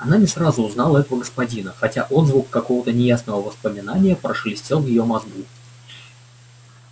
она не сразу узнала этого господина хотя отзвук какого-то неясного воспоминания прошелестел в её мозгу